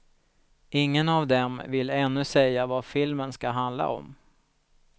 Ingen av dem vill ännu säga vad filmen ska handla om.